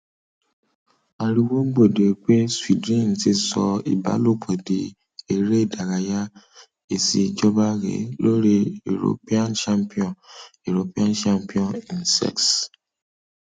ariwo gbòde pé sweden ti sọ ìbálòpọ di eré ìdárayá èsì ìjọba rèé lórí european championship european championship in sex